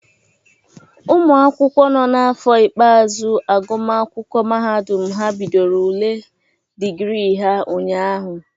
Ụmụ akwụkwọ nọ n'afọ ikpeazu agụmakwụkwọ mahadụm ha bidoro ule dịgrị ha ụnyaahụ.